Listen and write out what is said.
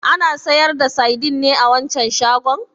Ana sayar da saidin ne a wancan shagon?